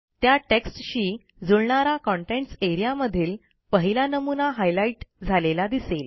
त्या टेक्स्टशी जुळणारा कंटेंट्स एआरईए मधील पहिला नमुना हायलाइट झालेला दिसेल